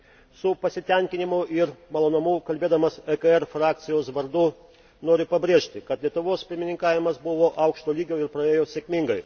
Su pasitenkinimu ir malonumu kalbėdamas ECR frakcijos vardu noriu pabrėžti, kad Lietuvos pirmininkavimas buvo aukšto lygio ir praėjo sėkmingai.